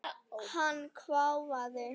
Hann hváði.